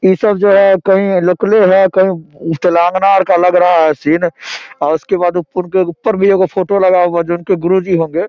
इ सब जो है कही लोकले है कही तेलांगना आर का लग रहा है सीन उसके बाद ऊपर भी एगो फोटो लगा हुआ है जो उनके गुरु जी होंगे |